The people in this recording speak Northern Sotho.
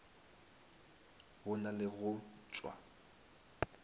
go na le go tšwa